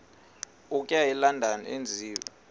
okuya elondon enziwe